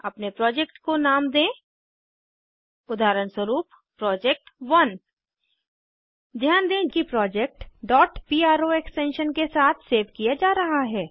अपने प्रोजेक्ट को नाम दें उदाहरणस्वरूप प्रोजेक्ट1 ध्यान दें कि प्रोजेक्ट pro एक्सटेंशन के साथ सेव किया जा रहा है